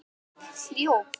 Og Gump hljóp!